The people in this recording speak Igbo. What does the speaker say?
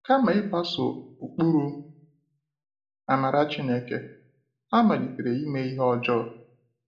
Kama ịgbaso ụkpụrụ amara Chineke, ha malitere ime ihe ọjọọ.